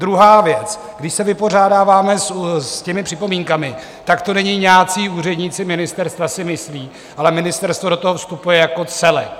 Druhá věc, když se vypořádáváme s těmi připomínkami, tak to není "nějací úředníci ministerstva si myslí", ale ministerstvo do toho vstupuje jako celek.